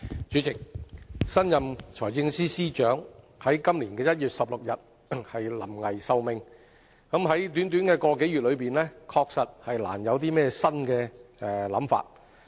主席，新任財政司司長於今年1月16日才臨危受命，在短短一個多月內，確實難有新的想法。